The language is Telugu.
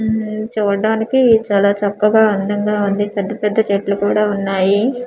మ్మ్ చూడ్డానికి చాలా చక్కగా అందంగా ఉంది పెద్ద పెద్ద చెట్లు కూడా ఉన్నాయి.